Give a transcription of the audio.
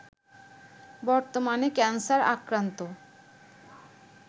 বর্তমানে ক্যানসার আক্রান্ত